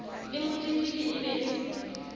le motletlebi e be le